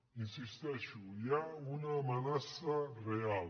hi insisteixo hi ha una amenaça real